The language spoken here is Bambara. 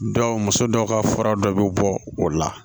Dɔw muso dɔw ka fura dɔ bɛ bɔ o la